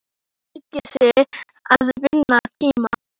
Hann ræskir sig til að vinna tíma.